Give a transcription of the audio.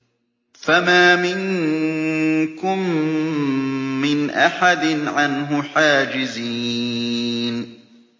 فَمَا مِنكُم مِّنْ أَحَدٍ عَنْهُ حَاجِزِينَ